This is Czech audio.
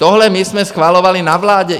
Tohle my jsme schvalovali na vládě.